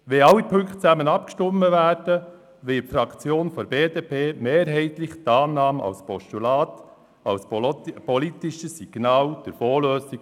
Wenn wir über alle Punkte zusammen abstimmen, wird die Fraktion der BDP mehrheitlich die Annahme als Postulat unterstützen, als politisches Signal für die Fondslösung.